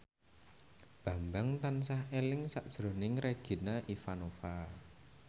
Bambang tansah eling sakjroning Regina Ivanova